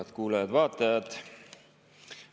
Head kuulajad-vaatajad!